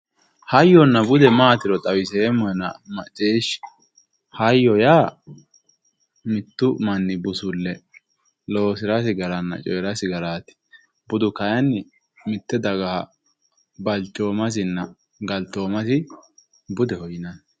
hayyonna bude maatiro xawiseemmona macciishhsi, hayyo yaa mittu manni busulle loosirasi garanna coyiirasi garaati, budu kayiinni mitte dagaha balchoomasinna galtoomasi budeho yinanni.